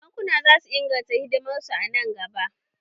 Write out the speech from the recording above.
Bankuna zasu ingarta hidimar su a nan gaba